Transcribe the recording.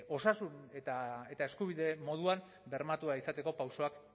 osasun eta eskubide moduan bermatua izateko pausoak